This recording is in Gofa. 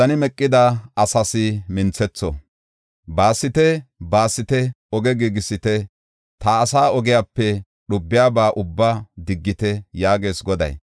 “Baasite, baasite! Oge giigisite; ta asaa ogiyape dhubiyaba ubbaa diggite” yaagees Goday.